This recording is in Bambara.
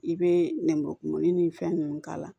I bɛ nkɔkumuni ni fɛn ninnu k'a la